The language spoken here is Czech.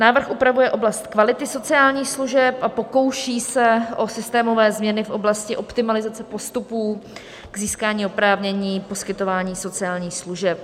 Návrh upravuje oblast kvality sociálních služeb a pokouší se o systémové změny v oblasti optimalizace postupů k získání oprávnění poskytování sociálních služeb.